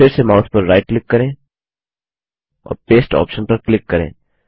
फिर से माउस पर राइट क्लिक करें और पेस्ट ऑप्शन पर क्लिक करें